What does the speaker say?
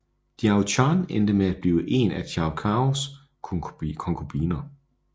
Diao Chan endte med at blive en af Cao Caos konkubiner